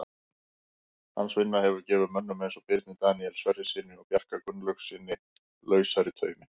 Hans vinna hefur gefið mönnum eins og Birni Daníel Sverrissyni og Bjarka Gunnlaugssyni lausari tauminn.